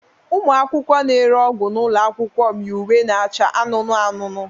Ụmụ akwụkwọ na-ere ọgwụ n'ụlọ akwụkwọ m yi uwe na-acha anụnụ anụnụ.